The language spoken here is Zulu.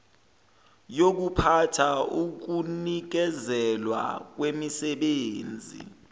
yokuphatha ukunikezelwa kwemisebenzi